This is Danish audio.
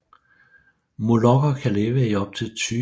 Molokker kan leve i op til 20 år